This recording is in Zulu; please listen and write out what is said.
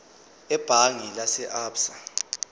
ebhange lase absa